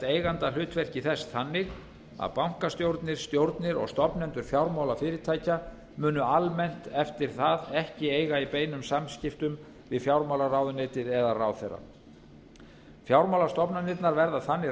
eigendahlutverki þess þannig að bankastjórnir stjórnir og stofnendur fjármálafyrirtækja munu almennt eftir það ekki eiga í beinum samskiptum við fjármálaráðuneytið eða ráðherra fjármálastofnanirnar verða þannig